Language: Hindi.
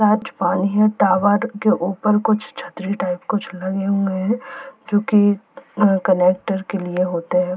पानी है टावर के ऊपर कुछ छतरी टाइप कुछ लगे हुए हैं जो कि कनेक्टर के लिए होते हैं।